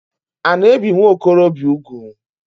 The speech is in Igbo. A na ebi nwokorobia úgwù?